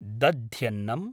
दध्यन्नम्